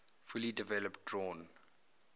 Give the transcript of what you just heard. fully developed drawn